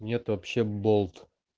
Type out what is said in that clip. нет вообще болт